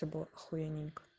это было охуененько